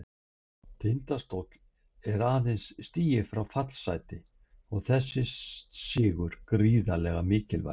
Tindastóll er aðeins stigi frá fallsæti og þessi sigur gríðarlega mikilvægur.